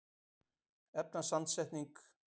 efnasamsetning lofthjúpsins breytist einnig með hæð